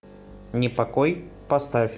непокой поставь